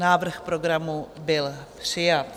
Návrh programu byl přijat.